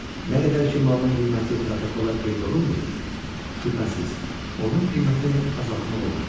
Nə qədər ki, malın qiyməti protokola qeyd olunmayıb, şübhəsiz, onun qiymətini azaltmaq olar.